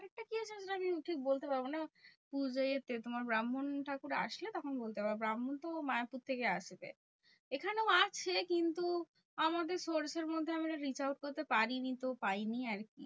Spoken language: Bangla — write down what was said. কি আছে আমি ঠিক বলতে পারবো না? উম যে এসে তোমার ব্রাহ্মণ আসলে তখন বলতে পারবো। ব্রাহ্মণ তো মায়াপুর থেকে আসবে। এখানেও আছে কিন্তু আমাদের source এর মধ্যে আমরা reach out করতে পারিনি। তো পাইনি আরকি।